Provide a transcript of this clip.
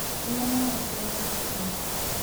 Nyua maĩ mbere ya gũkoma